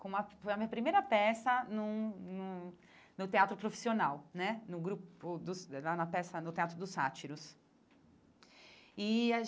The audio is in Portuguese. Com a foi a minha primeira peça num num no Teatro Profissional né, no grupo dos na na peça no Teatro dos Sátiros e a.